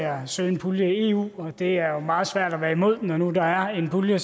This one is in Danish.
at søge en pulje i eu og det er jo meget svært at være imod når nu der er en pulje er